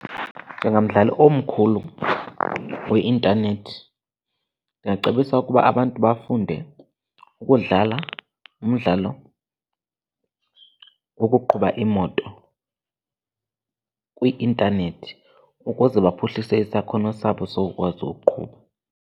Njengamdlali omkhulu weintanethi ndingacebisa ukuba abantu bafunde ukudlala umdlalo wokuqhuba iimoto kwi-intanethi ukuze baphuhlise isakhono sabo sokukwazi uqhuba.